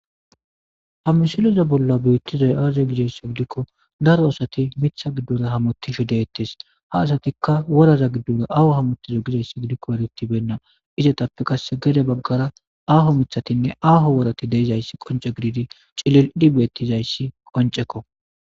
hamisiliza bolla beettizay aaze gidaysso gidikko daro asati mitha giddore hamottisho deettes ha asatikka woraza giddore ahu hamottiza gidayssi gidikko eretibenna izetappe qasse gede baggara aho mithatinne aaho worati deeizayssi qonce gididi cilildi beettizayssi qoncekko